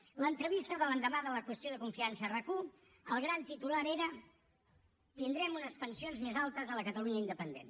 a l’entrevista de l’endemà de la qüestió de confiança a rac1 el gran titular era tindrem unes pensions més altes a la catalunya independent